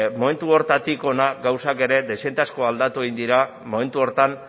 momentu horretatik hona gauzak ere dezente asko aldatu egin dira momentu horretan